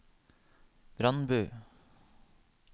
Brandbu